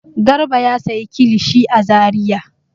Garba ya sayi kilishi a Zariya.